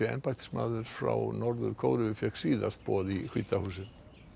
embættismaður frá Norður Kóreu fékk síðast boð í hvíta húsið